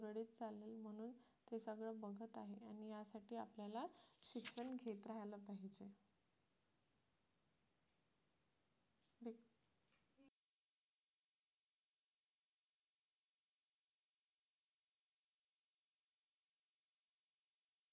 आपल्याला शिक्षण